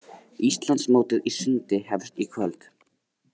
Íslandsmótið í sundi hefst í kvöld